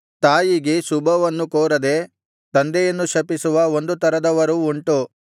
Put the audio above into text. ತಾಯಿಗೆ ಶುಭವನ್ನು ಕೋರದೆ ತಂದೆಯನ್ನು ಶಪಿಸುವ ಒಂದು ತರದವರು ಉಂಟು